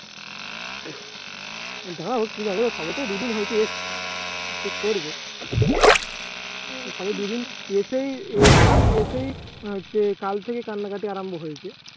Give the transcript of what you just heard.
দাঁড়া এবার শবে তো দু দিন হয়েছে এসেছে Check করবে সবে দুদিন এসেই এসেই কাল থেকে কান্নাকাটি আরম্ভ হয়েছে